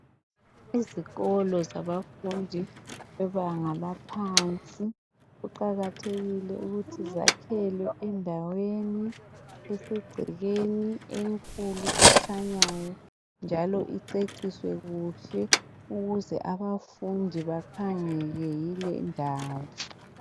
Izikolo zabafundi bebanga laphansi kuqakathekile ukuthi zakhelwe endaweni esegcekeni enkulu ekhanyayo njalo iceciswe kuhle ukuze abafundi bakhangwe yilendawo.